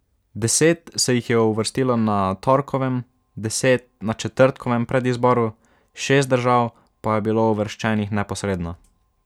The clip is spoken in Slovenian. Deset se jih je uvrstilo na torkovem, deset na četrtkovem predizboru, šest držav pa je bilo uvrščenih neposredno.